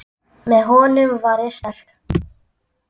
Með honum var ég sterk.